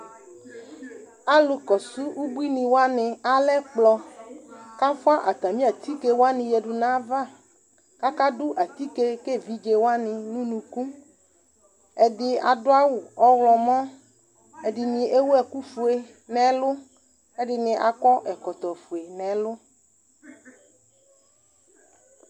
Alʋkɔsʋ ubuinɩ wanɩ alɛ ɛkplɔ kʋ afʋa atamɩ atike wanɩ yǝdu nʋ ayava kʋ akadʋ atike ka evidze wanɩ nʋ unuku Ɛdɩ adʋ awʋ ɔɣlɔmɔ Ɛdɩnɩ ewu ɛkufue nʋ ɛlʋ kʋ ɛdɩnɩ akɔ ɛkɔtɔfue nʋ ɛlʋ